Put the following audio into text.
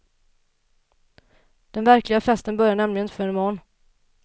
Den verkliga festen börjar nämligen inte förrän imorgon.